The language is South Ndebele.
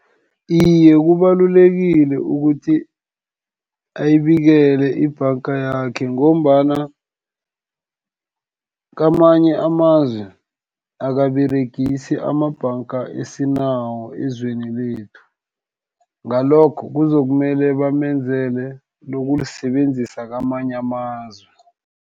Iye, kubalulekile ukuthi, ayibikele ibhanga yakhe, ngombana kamanye amazwe akaberegisi amabhanga esinawo ezweni lethu, ngalokho kuzokumele bamenzele lokulisebenzisa kwamanye amazwe.